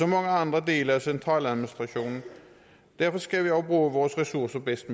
mange andre dele af centraladministrationen og derfor skal vi også bruge vores ressourcer bedst